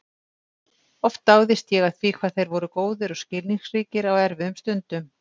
Oft dáðist ég að því hvað þeir voru góðir og skilningsríkir á erfiðum stundum.